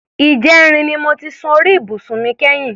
Ìjẹrin ni mo ti sun orí ibùsùn mi kẹ́yìn.